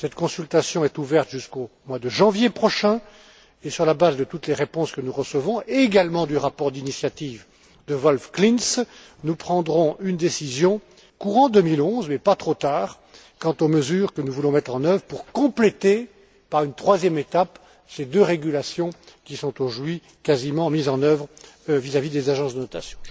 Cette consultation est ouverte jusqu'au mois de janvier prochain et, sur la base de toutes les réponses que nous recevons ainsi que du rapport d'initiative de Wolf Klinz, nous prendrons une décision courant 2011, mais pas trop tard, quant aux mesures que nous voulons mettre en œuvre pour compléter, par une troisième étape, ces deux régulations qui sont aujourd'hui quasiment mises en œuvre vis à vis des agences de notation.